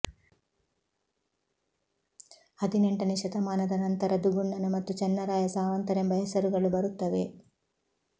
ಹದಿನೆಂಟನೆ ಶತಮಾನದ ನಂತರ ದುಗಣ್ನ ಮತ್ತು ಚೆನ್ನರಾಯ ಸಾವಂತರೆಂಬ ಹೆಸರುಗಳು ಬರುತ್ತವೆ